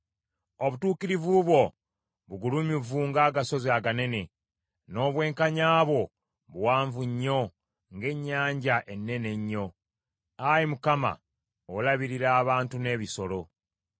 Obutuukirivu bwo bugulumivu ng’agasozi aganene, n’obwenkanya bwo buwanvu nnyo ng’ennyanja ennene ennyo. Ayi Mukama , olabirira abantu n’ebisolo.